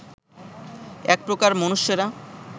এক প্রকার মনুষ্যেরা